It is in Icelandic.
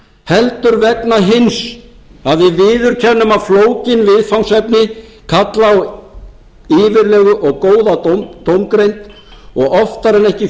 heldur vegna hins að við viðurkennum að flókin viðfangsefni kalla á yfirlegu og góða dómgreind og oftar en ekki